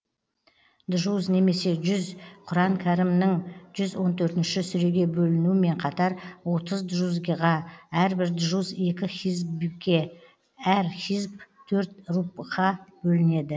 джуз немесе жүз құран кәрімнің жүз он төртінші сүреге бөлінуімен қатар отыз джузиға әрбір джуз екі хизбке әр хизб төрт рубғқа бөлінеді